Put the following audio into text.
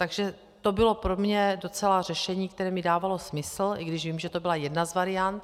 Takže to bylo pro mě docela řešení, které mi dávalo smysl, i když vím, že to byla jedna z variant.